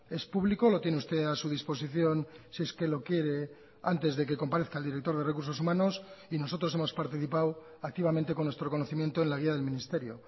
es público lo tiene usted a su disposición si es que lo quiere antes de que comparezca el director de recursos humanos y nosotros hemos participado activamente con nuestro conocimiento en la guía del ministerio